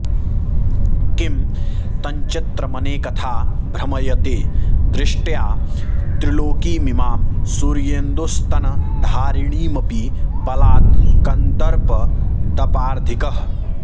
किं तञ्चित्रमनेकथा भ्रमयते दृष्ट्या त्रिलोकीमिमां सूर्येन्दुस्तनधारिणीमपि बलात् कन्दर्पदपार्धिकः